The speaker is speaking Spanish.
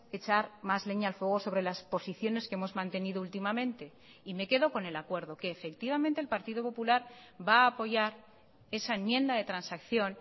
echar más leña al fuego sobre las posiciones que hemos mantenido últimamente y me quedo con el acuerdo que efectivamente el partido popular va a apoyar esa enmienda de transacción